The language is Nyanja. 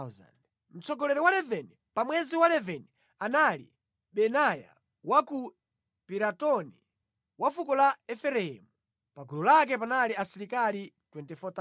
Mtsogoleri wa 11, pa mwezi wa 11 anali Benaya wa ku Piratoni, wa fuko la Efereimu. Pa gulu lake panali asilikali 24,000.